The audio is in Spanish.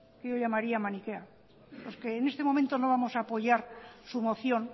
que yo llamaría maniquea porque en este momento no vamos a apoyar su moción